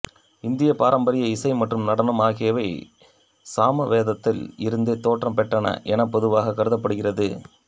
இந்திய பாரம்பரிய இசை மற்றும் நடனம் ஆகியவை சாம வேதத்தில் இருந்தே தோற்றம் பெற்றன என பொதுவாக கருதப்படுகிறது